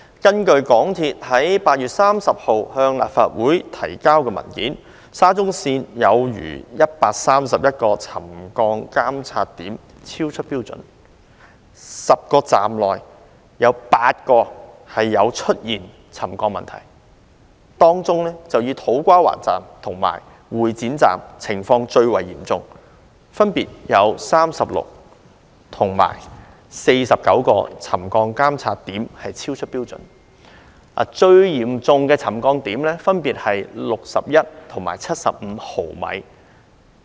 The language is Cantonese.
根據香港鐵路有限公司在8月30日向立法會提交的文件，沙中線全線有逾131個沉降監測點超出標準，在10個車站當中有8個出現沉降問題，當中以土瓜灣站和會展站的情況最為嚴重，分別有36個及49個沉降監測點超出標準，最嚴重的沉降點分別是61毫米和75毫米。